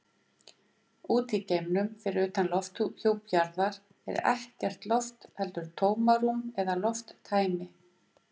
Úti í geimnum, fyrir utan lofthjúp jarðar, er ekkert loft heldur tómarúm eða lofttæmi.